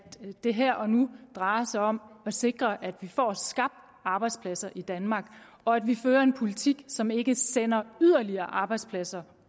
det her og nu drejer sig om at sikre at vi får skabt arbejdspladser i danmark og at vi fører en politik som ikke sender yderligere arbejdspladser